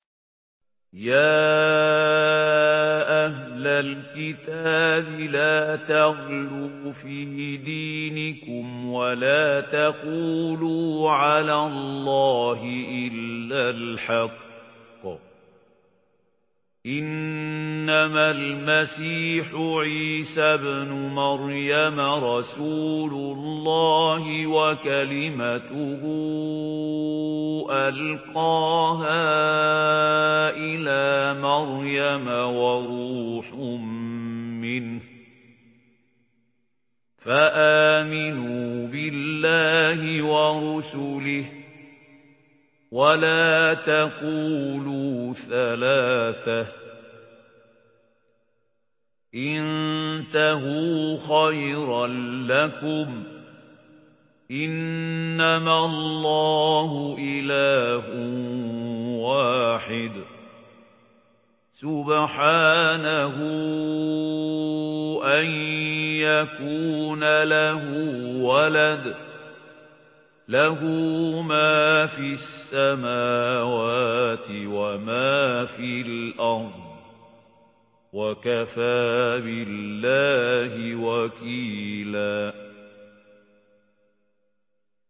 يَا أَهْلَ الْكِتَابِ لَا تَغْلُوا فِي دِينِكُمْ وَلَا تَقُولُوا عَلَى اللَّهِ إِلَّا الْحَقَّ ۚ إِنَّمَا الْمَسِيحُ عِيسَى ابْنُ مَرْيَمَ رَسُولُ اللَّهِ وَكَلِمَتُهُ أَلْقَاهَا إِلَىٰ مَرْيَمَ وَرُوحٌ مِّنْهُ ۖ فَآمِنُوا بِاللَّهِ وَرُسُلِهِ ۖ وَلَا تَقُولُوا ثَلَاثَةٌ ۚ انتَهُوا خَيْرًا لَّكُمْ ۚ إِنَّمَا اللَّهُ إِلَٰهٌ وَاحِدٌ ۖ سُبْحَانَهُ أَن يَكُونَ لَهُ وَلَدٌ ۘ لَّهُ مَا فِي السَّمَاوَاتِ وَمَا فِي الْأَرْضِ ۗ وَكَفَىٰ بِاللَّهِ وَكِيلًا